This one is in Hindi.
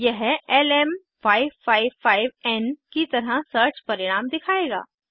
यह lm555एन की तरह सर्च परिणाम दिखायेगा